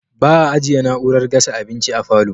Ba'a ajjiye na'urar gasa abinci a falo